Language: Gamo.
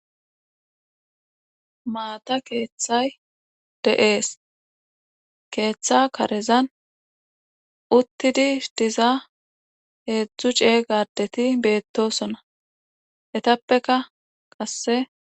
maata keeththay de7ees keeththa karezan uttidi diza heedzdzu cee gadeti beettosona etappeka qasse